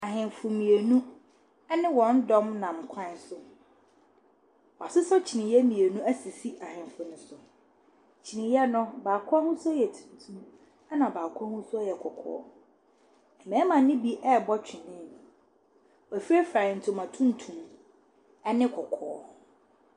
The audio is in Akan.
Ahenfo mmienu ɛbe wɔn dɔm nam kwan so. W'asesa kyiniyɛ mmienu asisi ahenfo no so. Kyiniyɛ no baako ahosuo yɛ tuntum ɛna baako ahosuo yɛ kɔkɔɔ. Ɛmɛɛma ne bi ɛɛbɔ twenee. W'afirefira ntoma tuntum ɛne kɔkɔɔ.